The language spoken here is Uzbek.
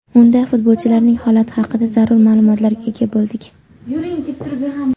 Unda futbolchilarning holati haqida zarur ma’lumotga ega bo‘ldik.